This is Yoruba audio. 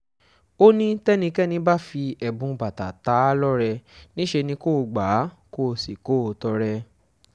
ó ní tẹ́nikẹ́ni bá fi ẹ̀bùn bàtà tá a lọ́rẹ níṣẹ́ ni kò gbà á kó sì kó o tọrẹ